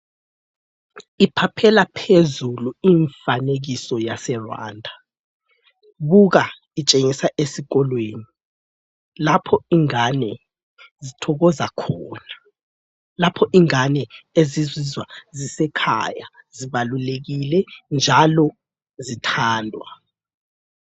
Iphaphela phezulu imfanekiso yaseRwanda. Buka itshengisa esikolweni lapho ingane ezithokoza khona, lapho ingane ezizizwa zisekhaya, zibalulekile njalo zithandwa.